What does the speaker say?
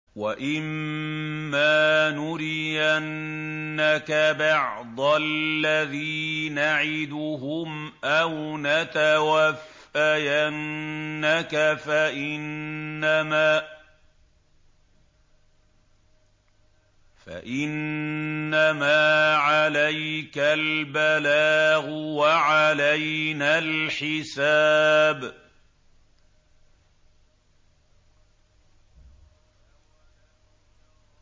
وَإِن مَّا نُرِيَنَّكَ بَعْضَ الَّذِي نَعِدُهُمْ أَوْ نَتَوَفَّيَنَّكَ فَإِنَّمَا عَلَيْكَ الْبَلَاغُ وَعَلَيْنَا الْحِسَابُ